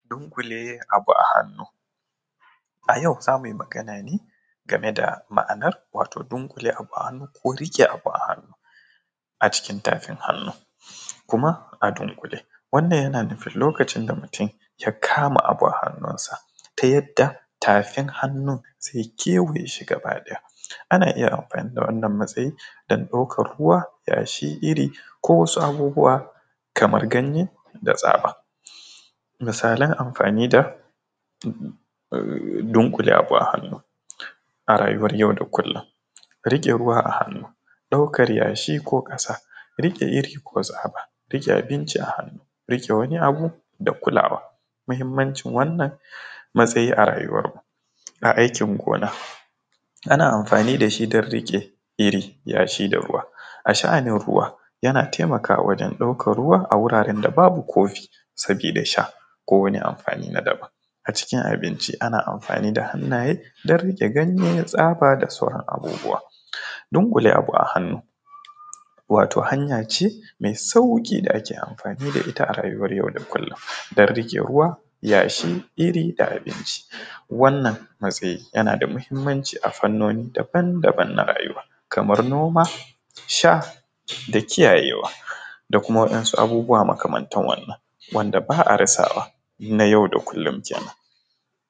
Dunƙule abu a hannu a yau zamuyi magana ne game da ma’anar dunkule abu a hannu ko riƙe abu a hannu a cikin tafin hannu kuma, a dunkule yana nufin lokacin da mutum ya kama abu a hannuwansa ta yadda tafin hannun zai kewaye shi gaba ɗaya ana iya amfani da wannan matsayin dan ɗaukar ruwa yashi iri-iri ko wasu abubuwa kamar ganye da tsaba, misalan amfanin da dunkule abu a hannu a rayuwar yau da kullum rike ruwa a hannu daukar yashi ko ƙasa riƙe iri ko tsaba rike abinci a hannu rike wani abu da kulawa mahimmancin wannan matsayi a rayuwar mu a aikin gona, ana amfani dashi dan riƙe iri yashi da ruwa a sha’anin ruwa yana taimakawa wajen ɗaukan ruwa a wuraren da babu kofi saboda sha ko wani amfani na daban a cikin abinci ana amfani da hannaye dan riƙe ganye tsaba da sauran abubuwa, dunkule abu a hannu wato hanya ce mai sauƙi da ake amfani da ita a rayuwar yau da kullum don riƙe ruwa yashi iri da abinci, wannan matsayi yana da muhimmanci a fanoni daban-daban na rayuwa kamar noma sha da kiyayewa da kuma waɗansu abubuwa makamantar wannan wanda ba a rasa wannan a yau da kullum.